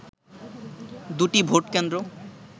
দুটি ভোটকেন্দ্র